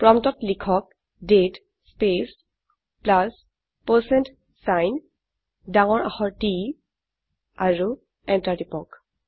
প্ৰম্পটত লিখক দাঁতে স্পেচ প্লাছ পাৰচেণ্ট ছাইন ডাঙৰ আখৰ T আৰু এন্টাৰ টিপক